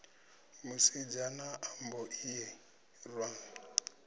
musidzana a mbo ḓi irwa